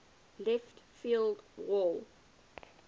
left field wall